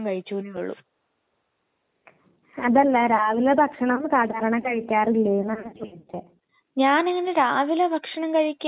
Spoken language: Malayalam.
ആ പിന്നെ മ് കാ ആൻസിക്ക് ഭക്ഷണമൊക്കെ നന്നായിട്ട് ഇഷ്ട്ടമുണ്ടല്ലേ കഴിക്കാനക്കെ